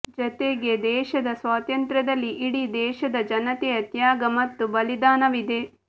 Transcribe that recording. ಜತೆಗೆ ದೇಶದ ಸ್ವಾತಂತ್ರ್ಯದಲ್ಲಿ ಇಡೀ ದೇಶದ ಜನತೆಯ ತ್ಯಾಗ ಮತ್ತು ಬಲಿದಾನವಿದೆ